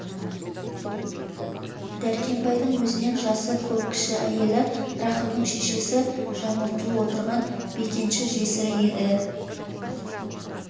дәркембайдың өзінен жасы көп кіші әйелі рахымның шешесі жаңылтұл отырған бекенші жесірі еді